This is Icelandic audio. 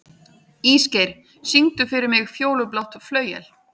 Ísgeir, syngdu fyrir mig „Fjólublátt flauel“.